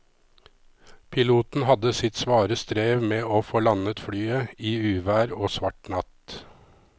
Piloten hadde sitt svare strev med å få landet flyet i uvær og svart natt.